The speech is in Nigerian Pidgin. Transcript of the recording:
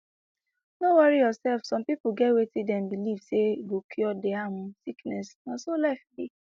no worry yourself some pipo get wetin dem believe say go cure dia um sickness na so life be